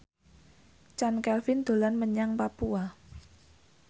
Chand Kelvin dolan menyang Papua